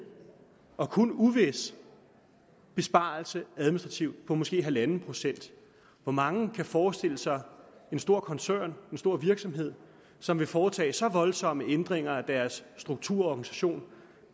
og kun uvis besparelse administrativt på måske halvanden procent hvor mange kan forestille sig en stor koncern en stor virksomhed som ville foretage så voldsomme ændringer af deres struktur og organisation